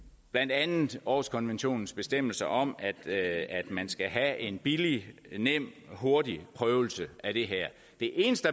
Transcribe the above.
blandt andet århuskonventionens bestemmelser om at man skal have en billig nem og hurtig prøvelse af det her det eneste